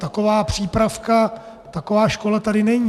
Taková přípravka, taková škola tady není.